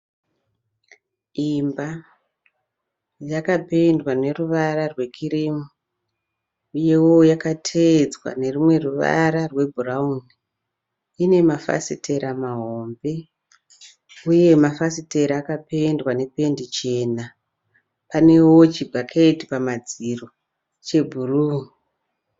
Imba yakapendwa neruvara rwekirimu uyewo yakateedzwa nerumwe ruvara rwebhurauni. Ine mafasitera mahombe uye mafasitera akapendwa nependi chena. Panewo chibhaketi pamadziro chebhuru.